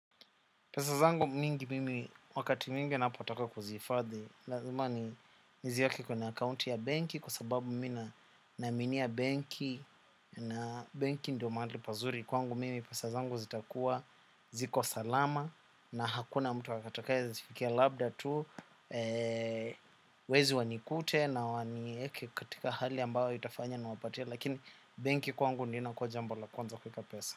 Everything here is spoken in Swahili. Pesa zangu mingi mimi wakati mwingi napotaka kuzihifadhi. Lazima nizieake kwenye akaunti ya benki kwa sababu mina naaminia benki na benki ndo mahali pazuri kwangu mimi. Pesa zangu zitakuwa ziko salama na hakuna mtu atakaye zifikia labda tu. Wezi wanikute na wanieke katika hali ambao itafanya niwapatie. Lakini benki kwangu ndio inakuwa jambo la kwanza kueka pesa.